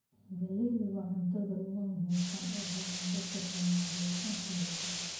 Galleydu waa cuntada ugu muhiimsan ee ay helaan dadka Soomaaliyeed intooda badan.